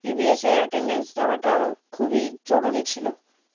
EVNS এর attendance দেওয়াটা খুব জরুরি ছিল